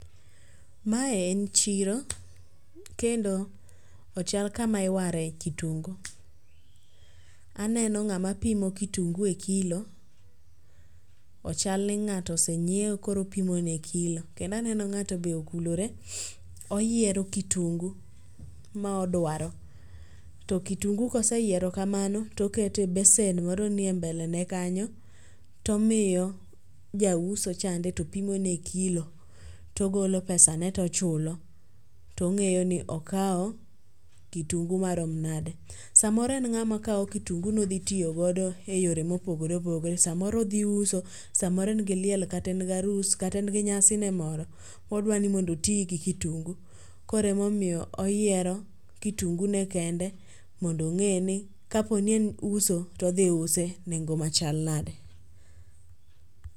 Mae en chiro, kendo ochal kama iwaro e kitungu, aneno ng'ama pimo kitungu e kilo ochal ni ng'ato oseng'iewo koro opimo ne e kilo. Kendo aneno ng'ato be okulore oyiero kitungu ma odwaro to kitungu ka oseyiero kamano to oketo e besen moro ni e mbele ne kanyo to omiyo jauso chande to pimo ne e kilo to ogolo pesa ne to ochulo.to ong'eyo ni okawo kitung ma rom nade. Saa moro en ng'a ma kawo kitungu ni odhi tiyo go e yore ma opogore opogore sa moro odhi uso, sa moro en gi liel kata en gi arus kata en gi nyasi ne moro odwani mondo oti gi kitungu koro ema omiyo oyiero kitungu ne kende mondo onge ni ka po ni en uso to odhi use e nengo ma chal nade.